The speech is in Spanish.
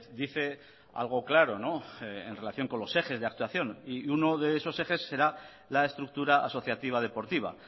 dice algo claro en relación con los ejes de actuación y uno de esos ejes será la estructura asociativa deportiva